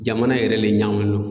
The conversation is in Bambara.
Jamana yɛrɛ le ɲagamuni no.